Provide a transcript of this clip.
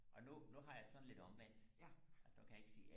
og nu nu har jeg det sådan lidt omvendt at nu kan jeg ikke sige